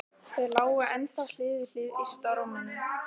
Þau lágu ennþá hlið við hlið yst á rúminu.